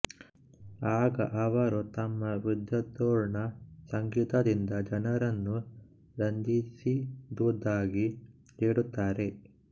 ಆಗ ಅವರು ತಮ್ಮ ವಿದ್ವತ್ಪೂರ್ಣ ಸಂಗೀತದಿಂದ ಜನರನ್ನು ರಂಜಿಸಿದುದಾಗಿ ಹೇಳುತ್ತಾರೆ